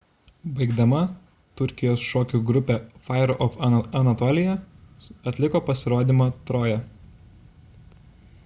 baigdama turkijos šokių grupė fire of anatolia atliko pasirodymą troja